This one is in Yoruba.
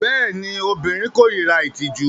Bẹẹni, obirin korira itiju